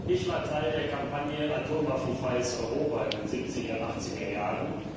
Ich war Teil der Kampagne Atomwaffenfreies Europa in den Siebziger Achtzigerjahren.